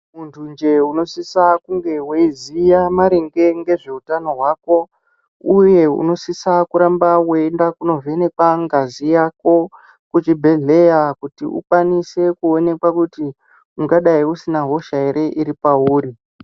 Muntu njee unosisa kunge weiziya maringe ngezveutano hwako uye unosisa kuramba weienda konovhenekwa ngazi yako kuchibhehleya kuti ukwanise kuonekwa kuti ungadai usina hosha ere iri pauri.